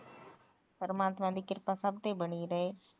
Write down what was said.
ਪਰਮਾਤਮਾ ਦੀ ਕਿਰਪਾ ਸਭ ਤੇ ਬਣੀ ਰਹੇ